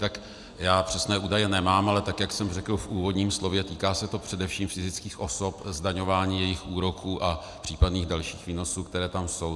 Tak já přesné údaje nemám, ale tak jak jsem řekl v úvodním slově, týká se to především fyzických osob, zdaňování jejich úroků a případných dalších výnosů, které tam jsou.